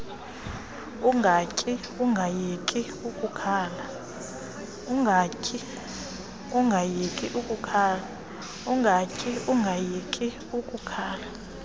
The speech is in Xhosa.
ungatyi ungayeki ukukhala